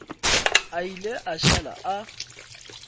a ile a šala a